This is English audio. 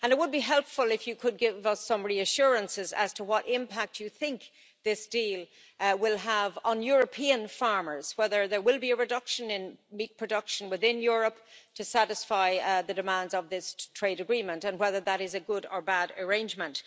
It would be helpful if you could give us some reassurances as to what impact you think this deal will have on European farmers, whether there will be a reduction in meat production within Europe to satisfy the demands of this trade agreement and whether that is a good or bad arrangement.